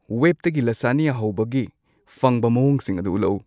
ꯋꯦꯕꯇꯒꯤ ꯂꯁꯥꯅ꯭ꯌꯥ ꯍꯧꯕꯒꯤ ꯐꯪꯕ ꯃꯑꯣꯡꯁꯤꯡ ꯑꯗꯨ ꯎꯠꯂꯛꯎ